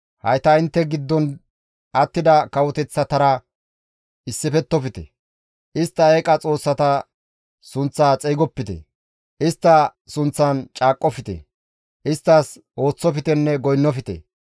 Hayta intte giddon attida kawoteththatara issifettofte; istta eeqa xoossata sunththa xeygopite; istta sunththan caaqqofte; isttas ooththoftenne goynnofte.